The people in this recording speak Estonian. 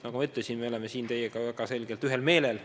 Nagu ma ütlesin, me oleme siin teiega väga selgelt ühel meelel.